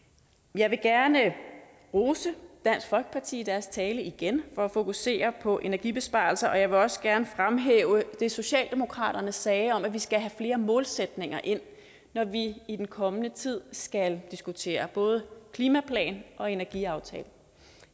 jeg vil gerne rose dansk folkeparti for i deres tale igen at fokusere på energibesparelser og jeg vil også gerne fremhæve det som socialdemokraterne sagde om at vi skal have flere målsætninger ind når vi i den kommende tid skal diskutere både klimaplan og energiaftale